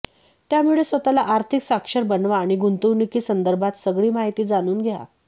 त्यामुळे स्वतःला आर्थिक साक्षर बनवा आणि गुंतवणुकी संदर्भात सगळी माहिती जाणून घ्या